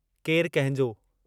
केरु कंहिंजो